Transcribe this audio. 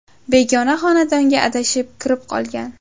begona xonadonga adashib kirib qolgan.